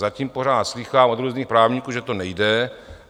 Zatím pořád slýchám od různých právníků, že to nejde.